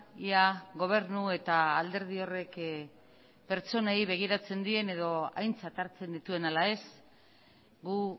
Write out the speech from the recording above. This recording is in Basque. ia gobernu eta alderdi horrek pertsonei begiratzen dien edo aintzat hartzen dituen ala ez gu